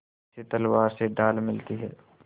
जैसे तलवार से ढाल मिलती है